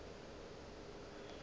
yo a bego a sa